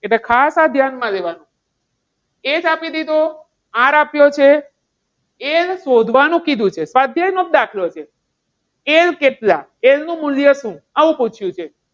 એટલે ખાસ આ ધ્યાનમાં લેવાનું. H આપી દીધો R આપ્યો છે અને એ શોધવાનું કીધું છે. સ્વાધ્યાય નો દાખલો છે. L કેટલા L નું મૂલ્ય શું આવું પૂછ્યું છે.